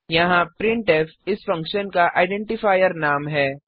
यहाँ प्रिंटफ इस फंक्शन का आइडेंटीफायर नाम है